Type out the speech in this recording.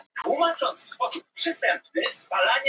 Heldur á honum í hendinni.